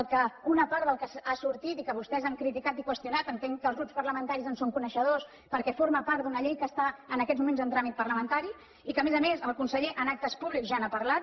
el que una part del que ha sortit i que vostès han criticat i qüestionat entenc que els grups parlamentaris en són coneixedors perquè forma part d’una llei que està en aquests moments en tràmit parlamentari i que a més a més el conseller en actes públics ja n’ha parlat